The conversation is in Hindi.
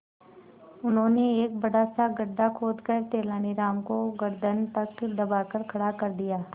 उन्होंने एक बड़ा सा गड्ढा खोदकर तेलानी राम को गर्दन तक दबाकर खड़ा कर दिया